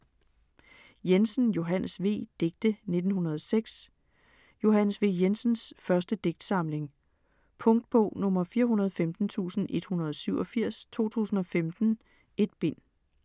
Jensen, Johannes V.: Digte 1906 Johannes V. Jensens første digtsamling. Punktbog 415187 2015. 1 bind.